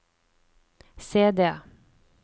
CD